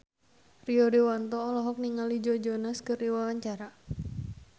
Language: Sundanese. Rio Dewanto olohok ningali Joe Jonas keur diwawancara